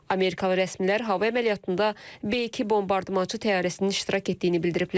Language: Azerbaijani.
Amerikalı rəsmilər hava əməliyyatında B-2 bombardmançı təyyarəsinin iştirak etdiyini bildiriblər.